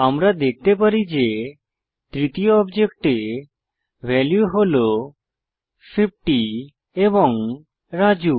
আমরা দেখতে পারি যে তৃতীয় অবজেক্টে ভ্যালু হল 50 এবং রাজু